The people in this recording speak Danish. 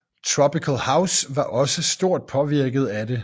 Tropical house var også stort påvirket af det